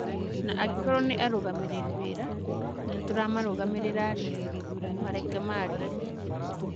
Na angĩkorwo nĩ arũgamĩrĩri wĩra, na nĩtũramarũgamĩrĩra-rĩ, mareke maarie.'